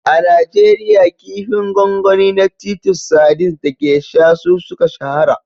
A Najeriya, kifin gwangwani na titus sardines da geisha su suka shahara.